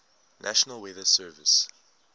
national weather service